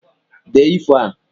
Dee ifo a!